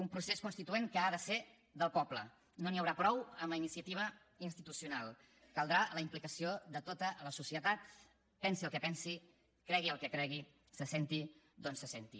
un procés constituent que ha de ser del poble no n’hi haurà prou amb la iniciativa institucional caldrà la implicació de tota la societat pensi el que pensi cregui el que cregui se senti d’on se senti